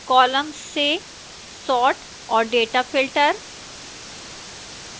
columns से sort और data filter